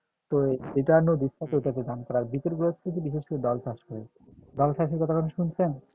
তো এটা নদীর সাইডে ধান করার বিশেষ করে দল চাষ করে দল চাষের কথা কখনো শুনছেন?